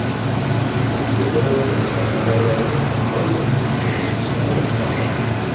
Ushbu so‘rov Senator tomonidan inobatga olinib qurilish ishlari boshlandi.